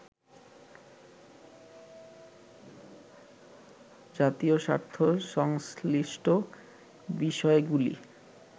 জাতীয় স্বার্থ সংশ্লিষ্ট বিষয়গুলি